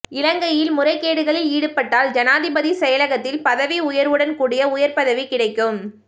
இலங்கையில் முறைகேடுகளில் ஈடுபட்டால் ஜனாதிபதி செயலகத்தில் பதவிஉயர்வுடன் கூடிய உயர்பதவி கிடைக்கும்